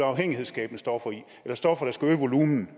afhængighedsskabende stoffer i eller stoffer der skal øge volumenen